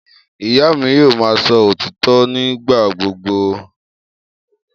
Iya mi yoo ma sọ ​​otitọ nigbagbogbo.